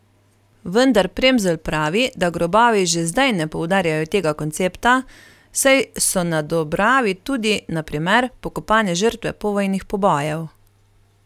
Vendar Premzl pravi, da grobovi že zdaj ne poudarjajo tega koncepta, saj so na Dobravi tudi, na primer, pokopane žrtve povojnih pobojev.